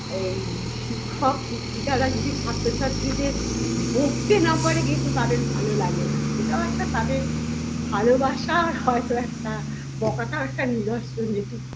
এই শিক্ষক শিক্ষিকারা যদি ছাত্র ছাত্রীদের বকতে না পারে কিন্তু তাদের ভালো লাগেনা এটাও একটা তাদের ভালোবাসার হয়তো একটা বকাটাও একটা নিরস্ব নীতি